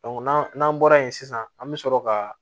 n'an n'an bɔra yen sisan an bɛ sɔrɔ ka